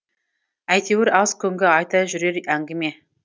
әйтеуір аз күнгі айта жүрер әңгіме